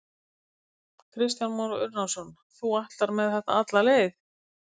Kristján Már Unnarsson: Þú ætlar með þetta alla leið?